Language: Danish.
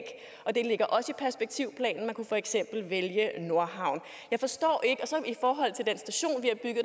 det ligger også i perspektivplanen og man kunne for eksempel vælge nordhavn i forhold til den